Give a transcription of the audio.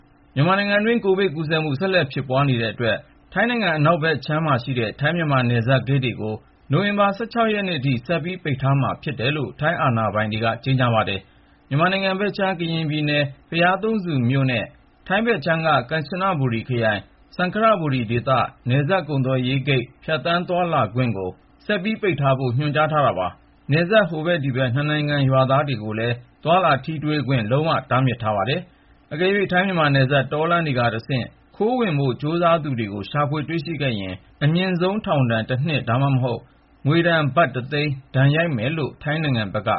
မြန်မာနိုင်ငံတွင်း ကိုဗစ်ရောဂါကူးစက်မှု ဆက်လက်ဖြစ်ပွားနေတဲ့အတွက် ထိုင်းနိုင်ငံ အနောက်ဘက်ခြမ်းမှာရှိတဲ့ ထိုင်း-မြန်မာ နယ်စပ်ဂိတ်တွေကို နိုဝင်ဘာ ၁၆ ရက်နေ့ထိ ဆက်ပြီး ပိတ်ထားမှာဖြစ်တယ်လို့ ထိုင်းအာဏာပိုင်တွေက ကြေညာပါတယ်။ မြန်မာနိုင်ငံဘက်ခြမ်း ကရင်ပြည်နယ်ထဲ ဘုရားသုံးဆူမြို့နဲ့ ထိုင်းဘက်ခြမ်းက ကမ်ချနဘူရီခရိုင်၊ စံခရဘူရီဒေသ နယ်စပ်ကုန်သွယ်ဂိတ် ဖြတ်သန်းသွားလာခွင့်ကို ဆက်ပိတ်ထားဖို့ ညွှန်ကြားထားတာပါ။ နယ်စပ် ဟိုဘက်ဒီဘက်က နှစ်နိုင်ငံ ရွာသားတွေကိုလည်း သွားလာထိတွေ့ခွင့် လုံးဝ တားမြစ်ထားပါတယ်။ အကယ်၍ ထိုင်း-မြန်မာနယ်စပ် တောလမ်းတွေကတဆင့် ခိုးဝင်ဖို့ ကြိုးစားသူတွေကို ရှာဖွေ တွေ့ရှိခဲ့ရင် အမြင့်ဆုံးထောင်ဒဏ် ၁ နှစ် ဒါမှမဟုတ် ငွေဒဏ် ဘတ်တသိန်း ဒဏ်ရိုက်မယ်လို့ ထိုင်းနိုင်ငံဘက်က